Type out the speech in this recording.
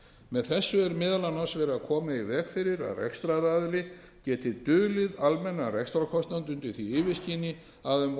með þessu er meðal annars verið að koma í veg fyrir að rekstraraðili geti dulið almennan rekstrarkostnað undir því yfirskini að um